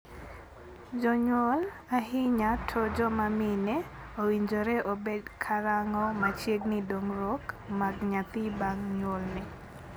Jonyuol, ahinya to joma mine, owinjore obed ka rango machiegni dongruok mag nyathi bang' nyuolne.